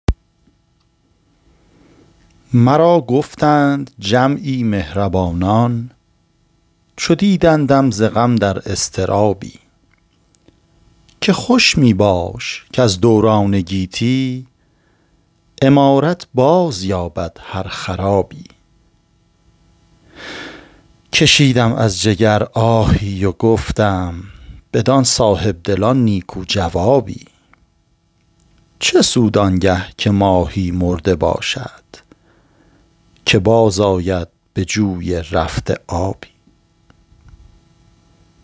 مرا گفتند جمعی مهربانان چو دیدندم ز غم در اضطرابی که خوش میباش کز دوران گیتی عمارت باز یابد هر خرابی کشیدم از جگر آهی و گفتم بدان صاحبدلان نیکو جوابی چه سود آنگه که ماهی مرده باشد که باز آید به جوی رفته آبی